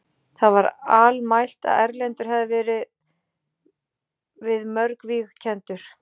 Það var almælt að Erlendur hafði verið við mörg víg kenndur.